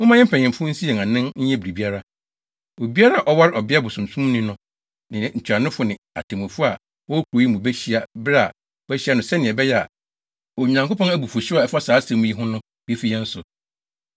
Momma yɛn mpanyimfo nsi yɛn anan nyɛ biribiara. Obiara a ɔware ɔbea bosonsomni no ne ntuanofo ne atemmufo a wɔwɔ kurow yi mu behyia bere a wɔahyɛ no sɛnea ɛbɛyɛ a Onyankopɔn abufuwhyew a ɛfa saa asɛm yi ho no befi yɛn so.”